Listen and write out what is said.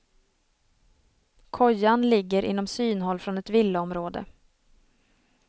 Kojan ligger inom synhåll från ett villaområde.